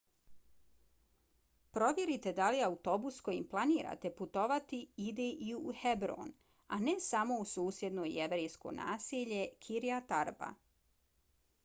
provjerite da li autobus kojim planirate putovati ide i u hebron a ne samo u susjedno jevrejsko naselje kiryat arba